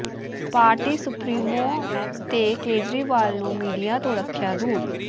party supremo ਤੇ ਕੇਜਰੀਵਾਲ ਨੂੰ media ਤੋਂ ਰੱਖਿਆ ਦੂਰ